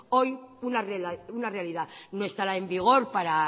hoy una realidad no estará en vigor para